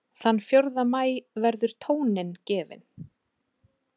Þann fjórða maí verður tóninn gefinn